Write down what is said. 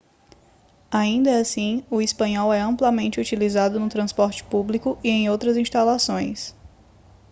ainda assim o espanhol é amplamente utilizado no transporte público e em outras instalações